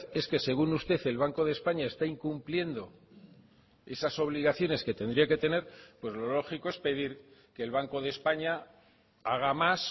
es que según usted el banco de españa está incumpliendo esas obligaciones que tendría que tener pues lo lógico es pedir que el banco de españa haga más